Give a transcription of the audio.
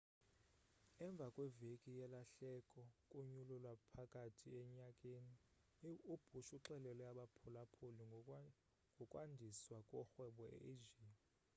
emva kweveki yelahleko kunyulo lwaphakathi enyakeni ubush uxelele abaphulaphuli ngokwandiswa korhwebo e-asia